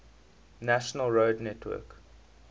national road network